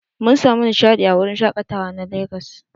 Mun samu nishadi a wurin shakatawa na Legas.